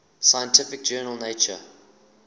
scientific journal nature